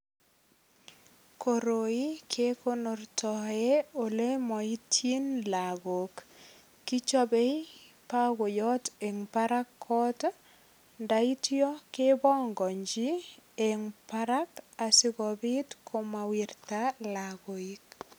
Koroi kenortoe ole maityin lagok. Kichabei bakoyot eng barak kot, ndaityo kepongonchi eng barak asigopit komawirta lagoik.